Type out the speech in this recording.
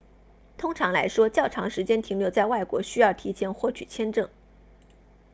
通常来说较长时间停留在外国需要提前获取签证